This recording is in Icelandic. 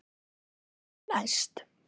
Hvað ætli komi næst?